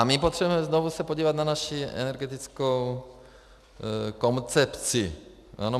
A my potřebujeme se znovu podívat na naši energetickou koncepci.